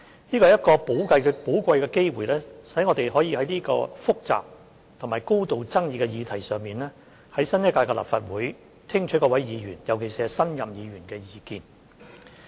這是一個寶貴機會，讓我們可以在這個複雜及高度爭議的議題上，在新一屆立法會聽取各位議員，尤其是新任議員的意見。